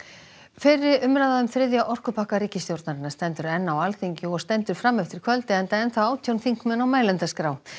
fyrri umræða um þriðja orkupakka ríkisstjórnarinnar stendur enn á Alþingi og stendur frameftir kvöldi enda átján þingmenn á mælendaskrá